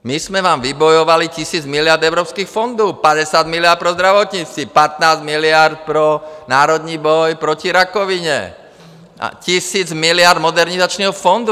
My jsme vám vybojovali tisíc miliard evropských fondů, 50 miliard pro zdravotnictví, 15 miliard pro Národní boj proti rakovině a tisíc miliard Modernizačního fondu.